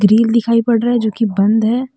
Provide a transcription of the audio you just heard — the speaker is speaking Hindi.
ग्रील दिखाई पड़ रहा है जो कि बंद है।